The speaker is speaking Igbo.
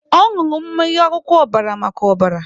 Ọ nụrụ mmiri akwụkwọ ọbara maka ọbara.